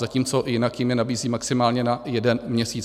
Zatímco jinak jim je nabízejí maximálně na jeden měsíc.